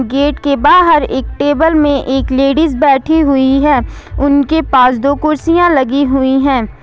Gate के बाहर एक टेबल में एक लेडिस बैठी हुई है उनके पास दो कुर्सियां लगी हुई है।